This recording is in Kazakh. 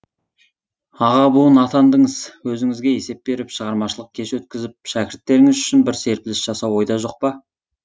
аға буын атандыңыз өзіңізге есеп беріп шығармашылық кеш өткізіп шәкірттеріңіз үшін бір серпіліс жасау ойда жоқ па